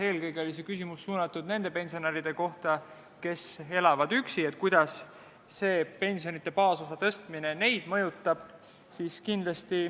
Eelkõige oli see küsimus nende pensionäride kohta, kes elavad üksi, et kuidas pensionide baasosa tõstmine neid mõjutab.